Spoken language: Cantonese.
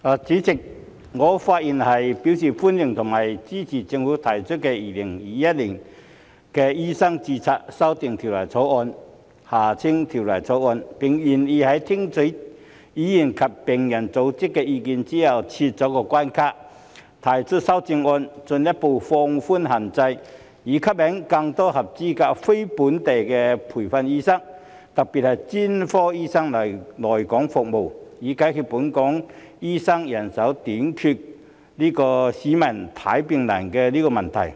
主席，我發言表示歡迎並支持政府提交的《2021年醫生註冊條例草案》，並願意在聽取議員和病人組織的意見後撤關卡、提出修正案，進一步放寬限制，以吸引更多合資格非本地培訓醫生，特別是專科醫生來港服務，以解決本港醫生人手短缺，市民看病難的問題。